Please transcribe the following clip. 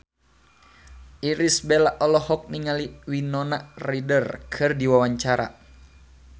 Irish Bella olohok ningali Winona Ryder keur diwawancara